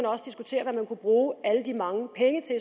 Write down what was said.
også diskutere hvad man kunne bruge alle de mange penge til